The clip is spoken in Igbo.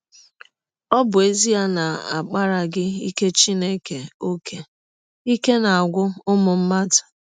Ọ bụ ezie na a kpaaraghị ike Chineke ọ́kè, ike na - agwụ ụmụ mmadụ.